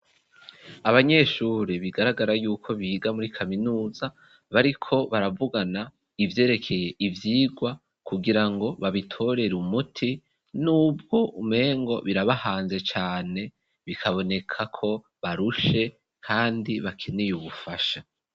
Abanyeshuri bigaragara yuko biga muri kaminuza bariko baravugana ivyerekeye ivyigwa kugirango babitorera umuti n'ubwo umengo birabahanze cane bikabonekako barushe kandi bakeneye ubufasha.